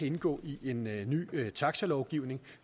indgå i en ny taxalovgivning